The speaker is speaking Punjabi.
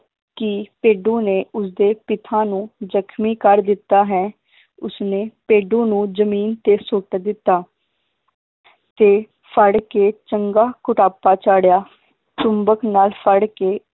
ਕਿ ਭੇਡੂ ਨੇ ਉਸਦੇ ਪਿਤਾ ਨੂੰ ਜਖਮੀ ਕਰ ਦਿੱਤਾ ਹੈ ਉਸਨੇ ਭੇਡੂ ਨੂੰ ਜਮੀਨ ਤੇ ਸੁੱਟ ਦਿੱਤਾ ਤੇ ਫੜ ਕੇ ਚੰਗਾ ਕੁੱਟਾਪਾ ਚਾੜ੍ਹਿਆ ਚੁੰਬਕ ਨਾਲ ਫੜ ਕੇ